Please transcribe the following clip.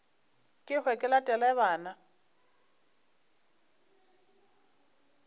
ke hwe ke latele bana